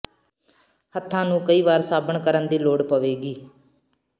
ਹੱਥਾਂ ਨੂੰ ਕਈ ਵਾਰ ਸਾਬਣ ਕਰਨ ਦੀ ਲੋੜ ਪਵੇਗੀ